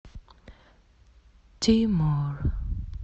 тимур